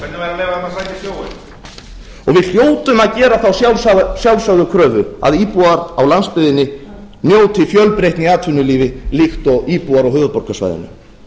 að leyfa þeim að sækja í sjóinn og við hljótum að gera þá sjálfsögðu kröfu að íbúar á landsbyggðinni njóti fjölbreytni í atvinnulífi líkt og íbúar á höfuðborgarsvæðinu